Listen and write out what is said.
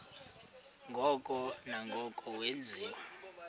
ngoko nangoko wenziwa